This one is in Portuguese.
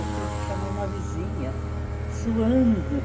Eu tive que chamar uma vizinha, suando.